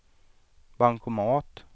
bankomat